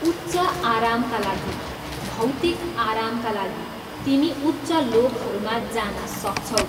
उच्च आरामका लागि, भैातिक आरामका लागि, तिमी उच्च लोकहरूमा जान सक्छौ ।